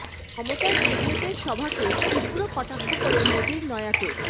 মমতার ব্রিগেডের সভাকে তীব্র কটাক্ষ করে মোদীর নয়া তোপ